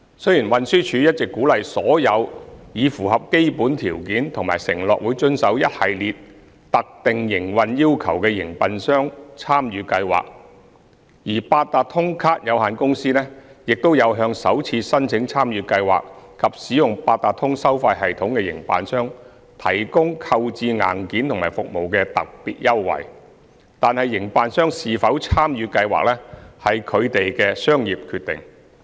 雖然運輸署一直鼓勵所有已符合基本條件及承諾會遵守一系列特定營運要求的營辦商參與計劃，而八達通卡有限公司亦有向首次申請參與計劃及使用八達通收費系統的營辦商提供購置硬件和服務的特別優惠，但營辦商是否參與計劃，屬其商業決定。